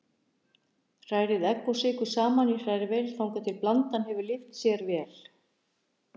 Hrærið egg og sykur saman í hrærivél þangað til blandan hefur lyft sér vel.